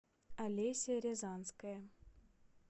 олеся рязанская